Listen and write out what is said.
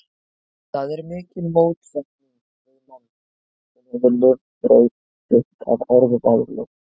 Það er mikil mótsetning við mann, sem hefur lifibrauð sitt af orðavaðli.